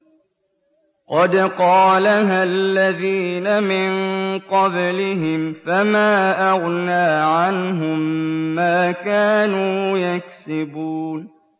قَدْ قَالَهَا الَّذِينَ مِن قَبْلِهِمْ فَمَا أَغْنَىٰ عَنْهُم مَّا كَانُوا يَكْسِبُونَ